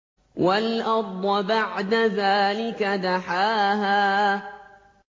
وَالْأَرْضَ بَعْدَ ذَٰلِكَ دَحَاهَا